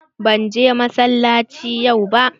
Ban je masalaci yau ba.